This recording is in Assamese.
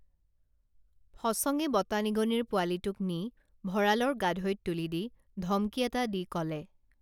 ফচঙে বতা নিগনিৰ পোৱালীটোক নি ভঁৰালৰ গাধৈত তুলি দি ধমকি এটা দি কলে